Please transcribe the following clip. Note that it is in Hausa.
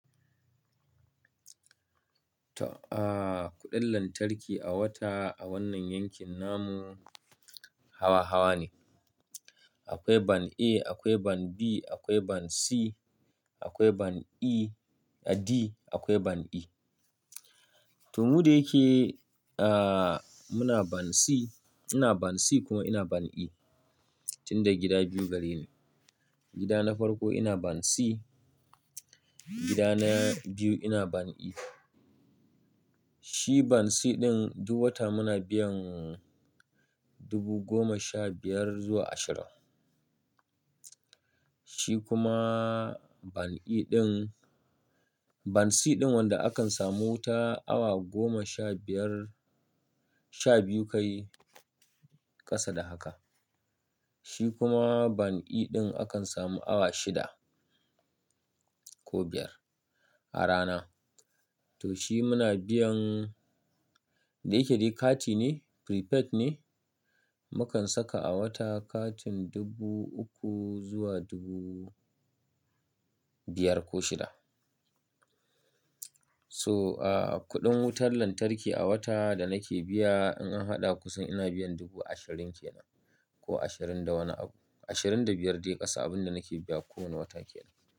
To, aaa, kuɗin lantarki a wata a wannan yankin namu hawa-hawa ne. Akwai ban A, akwai ban B, akwai ban C, akwai ban E, a D, akwai ban E. To mu da yake, aaa, muna ban C, ina ban C kuma ina ban E, tunda gida biyu gare ne. Gida na farko ina ban C, gida na biyu ina ban E. Shi ban C ɗin duk wata muna biyan dubu goma sha biyar zuwa ashirin. Shi kuma ban E ɗin-- ban C ɗin wanda akan samu ta awa goma sha biyar, sha biyu kai ƙasa da haka. Shi kuma ban E ɗin akan samu awa shida ko biyar a rana. To shi muna biyan, da yake dai kati ne, prepaid ne, mukan saka a wata katin dubu uku zuwa dubu biyar ko shida. So, aaa, kuɗin wutar lantarki a wata da nake biya in an haɗa kusan ina biyan dubu ashirin ke nan ko ashirin da wani abu, ashirin da biyar dai ƙasa abin da nake biya kowane wata ke nan.